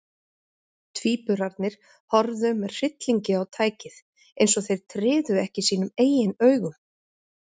Tvíburarnir horfðu með hryllingi á tækið, eins og þeir tryðu ekki sínum eigin augum.